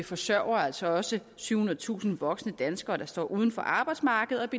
forsørger altså også syvhundredetusind voksne danskere der står uden for arbejdsmarkedet